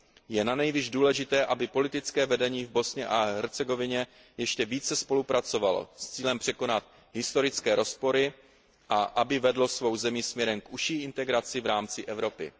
Je nanejvýš důležité, aby politické vedení v Bosně a Hercegovině ještě více spolupracovalo s cílem překonat historické rozpory a aby vedlo svou zemi směrem k užší integraci v rámci Evropy.